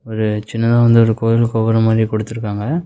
ஒரு சின்னதா வந்து ஒரு கோயில் கோபுரம் மாறி குடுத்துருகாங்க.